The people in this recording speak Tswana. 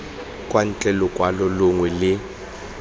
kwa ntle lokwalo longwe le